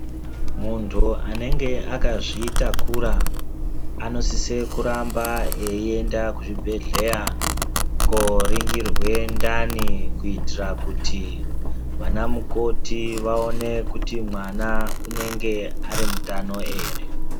Muntu anenge akazvitakura anosise kuramba eyienda kuchibhedhleya koringirwe ndani kuitira kuti vana mukoti vaone kuti mwana unenge ari mutano ere.